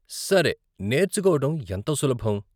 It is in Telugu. సరే, నేర్చుకోవటం ఎంత సులభం?